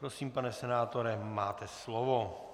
Prosím, pane senátore, máte slovo.